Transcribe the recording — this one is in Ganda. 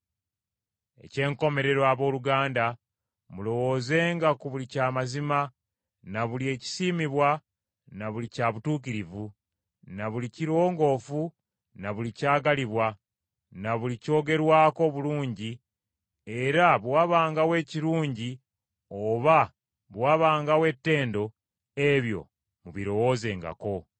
Eky’enkomerero, abooluganda, mulowoozenga ku buli kya mazima, na buli ekisiimibwa na buli kya butuukirivu, na buli kirongoofu, na buli kyagalibwa, na buli kyogerwako obulungi, era bwe wabangawo ekirungi oba bwe wabangawo ettendo, ebyo mubirowoozengako.